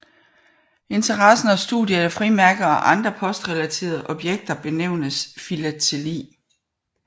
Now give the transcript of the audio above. Interessen og studiet af frimærker og andre postrelaterede objekter benævnes filateli